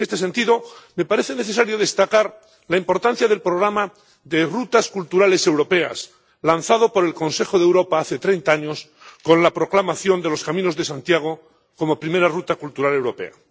En este sentido, me parece necesario destacar la importancia del programa de rutas culturales europeas, lanzado por el Consejo de Europa hace 30 años con la proclamación de los Caminos de Santiago como primera ruta cultural europea.